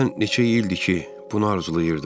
Mən neçə ildir ki, bunu arzulayırdım.